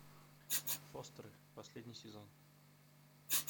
фостеры последний сезон